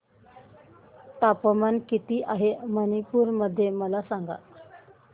तापमान किती आहे मणिपुर मध्ये मला सांगा